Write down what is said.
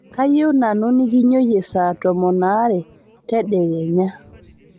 kayieunoyu nikinyioyie saa tomon aare tedekenya